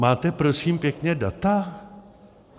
Máte, prosím pěkně, data?